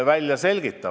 Mart Helme.